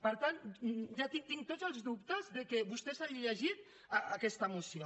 per tant tinc tots els dubtes que vostè s’hagi llegit aquesta moció